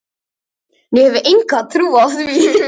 Ég hef enga trú á því,